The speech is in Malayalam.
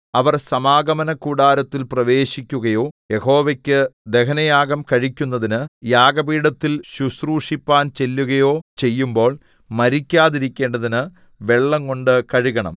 അവർ സമാഗമനകൂടാരത്തിൽ പ്രവേശിക്കുകയോ യഹോവയ്ക്ക് ദഹനയാഗം കഴിക്കുന്നതിന് യാഗപീഠത്തിൽ ശുശ്രൂഷിപ്പാൻ ചെല്ലുകയോ ചെയ്യുമ്പോൾ മരിക്കാതിരിക്കേണ്ടതിന് വെള്ളംകൊണ്ട് കഴുകണം